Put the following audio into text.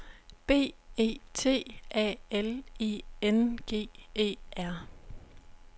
B E T A L I N G E R